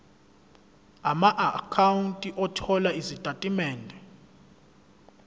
amaakhawunti othola izitatimende